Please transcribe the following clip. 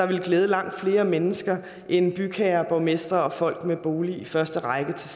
ville glæde langt flere mennesker end bygherrer borgmestre og folk med bolig i første række til